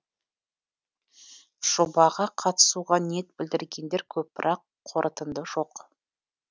жобаға қатысуға ниет білдіргендер көп бірақ қорытынды жоқ